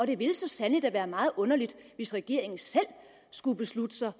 det ville så sandelig da være meget underligt hvis regeringen selv skulle beslutte sig